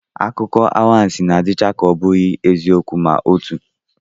Akụkọanwansị na-adịcha ka ọ bụghị eziokwu ma otu